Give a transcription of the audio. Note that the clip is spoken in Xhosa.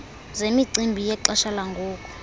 zemicimbi yexesha langoku